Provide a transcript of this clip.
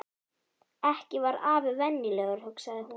Ekki var afi venjulegur, hugsaði hún.